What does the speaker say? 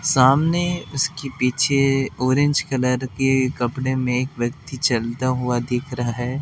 सामने उसके पीछे ऑरेंज कलर के कपड़े में एक व्यक्ति चलता हुआ दिख रहा है।